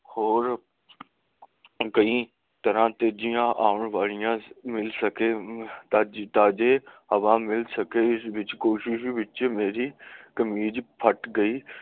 ਹੋਰ ਕਈ ਤਰ੍ਹਾਂ ਤੇਜੀਆਂ ਆਉਣ ਵਾਲਿਆਂ ਮਿਲ ਸਕੇ ਦਾ ਕਿੱਤਾ ਹਵਾ ਮਿਲ ਸਕੇ ਇਸ ਕੋਸ਼ਿਸ ਵਿਚ ਮੇਰੀ ਕਮੀਜ਼ ਫੱਟ ਗਈ